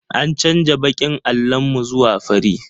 An canja baƙin allon mu zuwa fari